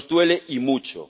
Nos duele, y mucho.